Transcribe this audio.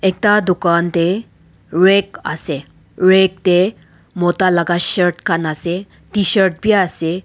Ekta dukhan dae rack ase rack dae mota laga shirt khan ase tshirt bhi ase--